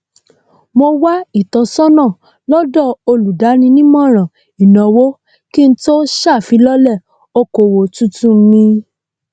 mo wá ìtọsọnà lọdọ olùdáninímọràn ìnáwó kí n tó ṣàfilọlẹ okòwò tuntun mí